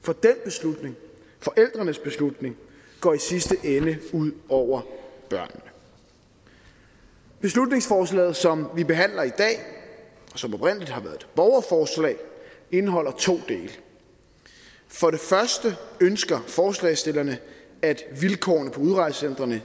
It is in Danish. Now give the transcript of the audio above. for den beslutning forældrenes beslutning går i sidste ende ud over børnene beslutningsforslaget som vi behandler i dag som oprindelig har været borgerforslag indeholder to dele for første ønsker forslagsstillerne at vilkårene på udrejsecentrene